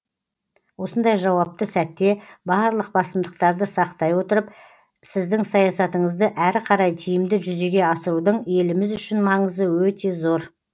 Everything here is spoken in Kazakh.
осындай жауапты сәтте барлық басымдықтарды сақтай отырып сіздің саясатыңызды әрі қарай тиімді жүзеге асырудың еліміз үшін маңызы өте зор